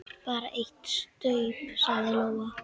Bara eitt staup, sagði Lóa.